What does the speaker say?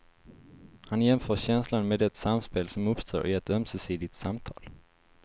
Han jämför känslan med det samspel som uppstår i ett ömsesidigt samtal.